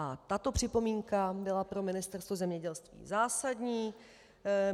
A tato připomínka byla pro Ministerstvo zemědělství zásadní.